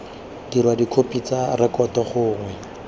dirwa dikhopi tsa rekoto gongwe